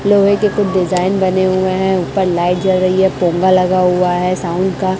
लोहे के कु डिजाइन बने हुए हैं ऊपर लाइट जल रही है पोंगा लगा हुआ है साउंड का--